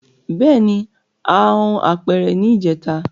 Bẹẹni a hun apere ni ijeta